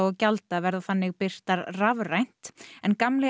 gjalda verða þannig birtar rafrænt en gamli